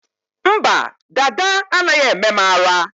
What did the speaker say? Mba, dada anaghị eme m ara